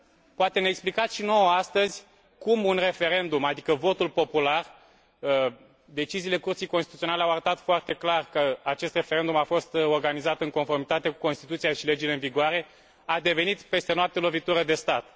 Poate ne explicați și nouă astăzi cum un referendum, adică votul popular deciziile Curții Constituționale au arătat foarte clar că acest referendum a fost organizat în conformitate cu Constituția și legile în vigoare a devenit peste noapte lovitură de stat.